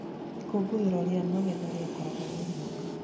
Ikũngũĩro rĩa magetha rĩkagwo o mwaka.